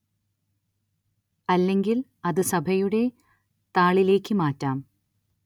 അല്ലെങ്കില്‍ അത് സഭയുടെ താളിലേക്ക് മാറ്റാം